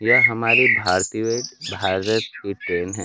यह हमारी भारतीय भारत की ट्रेन है।